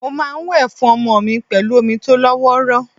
Mo máa ń wẹ̀ fún ọmọ mi pẹ̀lú omi tó lọ́wọ́rọ́.